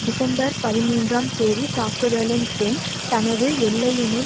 December பதிமூன்றாம் தேதி தாக்குதலின் பின் தனது எல்லையினுள்